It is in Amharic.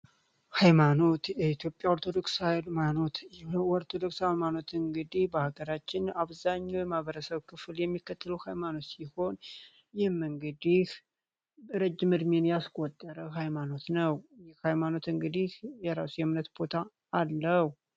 ሃይማኖት ኢትዮጵያ ኦርቶዶክስ ሀማኖት ኦርቶዶክስ ሀማኖት እንግዲህ በሀገራችን አብዛኘው ማበረሰው ክፉል የሚከትሉ ሃይማኖት ሲሆን ይህም እንግዲህ ረጅምርሜን ያስቆደረው ሃይማኖት ነው ሃይማኖት እንግዲህ የራሱ የምነት ቦታ አለው።